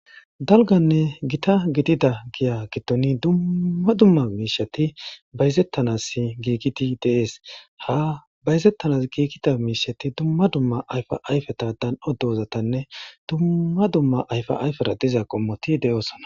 Dalganne gita gidida giya gittoni dumma dumma miishati bayzettanas giigiti dees ha bayzettanas giikita miishati dumma dumma ayfa ayfe taadan oddozatanne dumma dumma ayfa ayfera diza qommoti de'oosona.